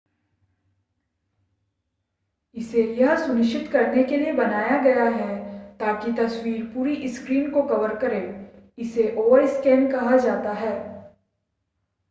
इसे यह सुनिश्चित करने के लिए बनाया गया है ताकि तस्वीर पूरी स्क्रीन को कवर करे इसे ओवरस्कैन कहा जाता है